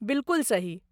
बिलकुल सही।